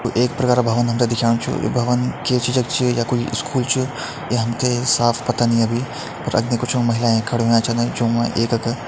you एक प्रकार का भवन हम तैं दिखेणु छु यु भवन के चीजअ क च या कोई स्कूल छु ये हम तैं साफ़ पता नहीं अभी पर अग्ने कुछ महिलाएं खड़ी होया छन ज्यों मा एकक --